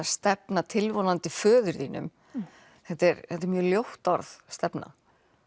stefna tilvonandi föður þínum þetta er þetta er mjög ljótt orð stefna